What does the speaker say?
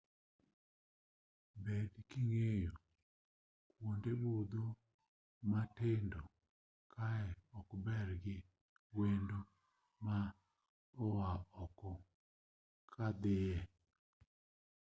bed king'eyo kuonde budho matindo kae ok ber gi wendo ma oa oko ka dhie